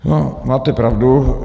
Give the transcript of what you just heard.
No máte pravdu.